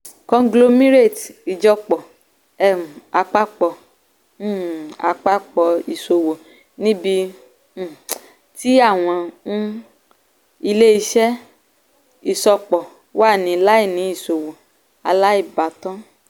conglomerate ìjọpọ̀ um - àpapọ̀ um - àpapọ̀ ìṣòwò níbi um tí àwọn um ilé-iṣẹ́ ìṣọpọ̀ wà ní làínì ìṣòwò aláìbátan.